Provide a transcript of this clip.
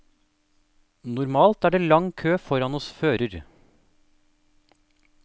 Normalt er det lang kø foran hos fører.